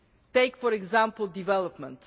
Take for example development.